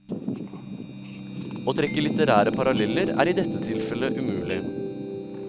Å trekke litterære paralleller er i dette tilfelle umulig.